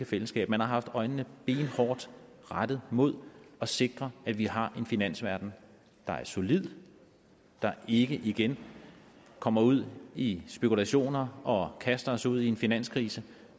fællesskab man har haft øjnene benhårdt rettet mod at sikre at vi har en finansverden der er solid der ikke igen kommer ud i spekulationer og kaster os ud i en finanskrise